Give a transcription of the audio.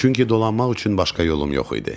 Çünki dolanmaq üçün başqa yolum yox idi.